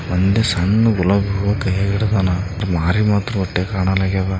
ಒಂದ್ ಸಣ್ಣ ಗುಲಾಬಿ ಹೂವ ಕೈಯಾಗ್ ಹಿಡ್ದನ ಆರ್ ಮಾರಿ ಮಾತ್ರ